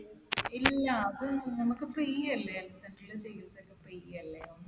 ഇല്ല. അത് നമുക്ക് free അല്ലെ. health center ൽ ചികിത്സയൊക്കെ free അല്ലെ.